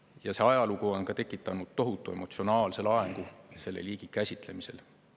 Ja see ajalugu on ka tekitanud tohutu emotsionaalse laengu selle liigi käsitlemisel.